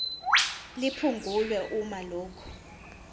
liphungulwe uma lokhu